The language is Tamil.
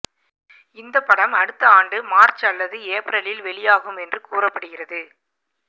இந்த படம் அடுத்த ஆண்டு மார்ச் அல்லது ஏப்ரலில் வெளியாகும் என்று கூறப்படுகிறது